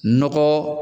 Nɔgɔ